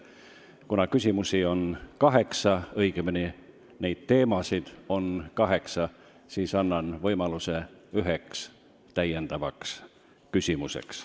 Kuna küsimusi on kaheksa teema kohta, annan võimaluse esitada ka üks täiendav küsimus.